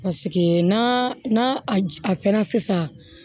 na a fɛnna sisan